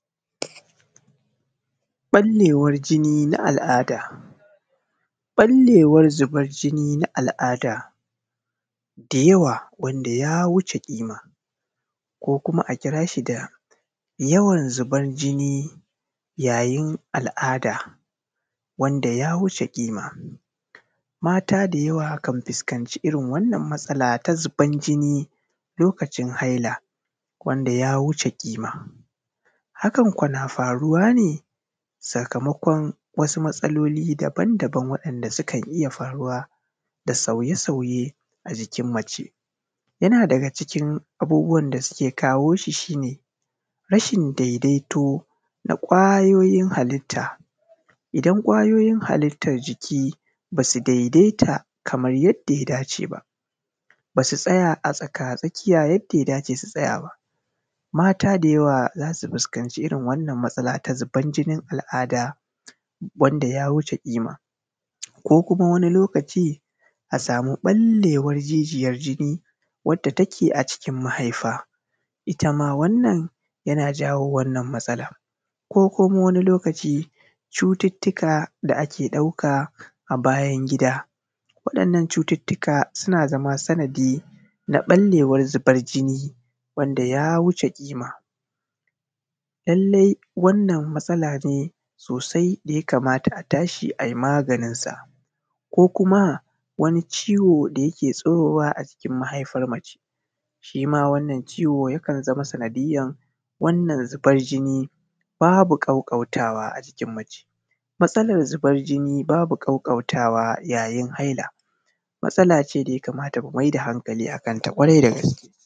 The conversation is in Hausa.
Ballewar jini na al’ada da yawa wanda ya wuce ƙima ko kuma a kira shi da yawan zuban jini yayin al’ada. Mata da yawa kan fuskanci wannan matsala na ɓallewar jini lokacin haila hakan ko na faruwa ne sakamakon abubuwan da ka iya faruwa da sauye-sauye a jikin mace yana daga cikin abubuwan da ke kawo shi shi ne rashin daidaito na kwayoyin halitta, idan kwayoyin halittan jiki ba su daidaita kamar yadda ya dace ba, ba su tsaya a tsakatsakiya yadda ya dace ba, mata da yawa za su fuskanci wannan matsala na zuban jinin al’ada wanda ya wuce ƙima ko kuma wani lokaci a samu ɓallewar jijiyan jini wanda take a cikin mahaifa. Ita ma wannan yana jawo wannan matsalan ko kuma wani lokaci cututtuka da ake ɗauka a bayan gida, wannan cututtuka suna zama sanadi na ɓallewar zuban jini wanda ya wuce ƙima. Lallai wannan matsala ne sosai da ya kamata a tashi ai maganin sa ko kuma wani ciwo da yake tsirowa a jikin mahaifan mace, shi ma wannan ciwo yakan zama sanadiyyan wannan zuban jini babu ƙaƙƙautawa yayin haila, matsala ne da ya kamata mu maida hankali akan ta kwarai da gaske.